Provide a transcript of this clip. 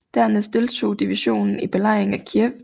Dernæst deltog divisionen i belejringen af Kiev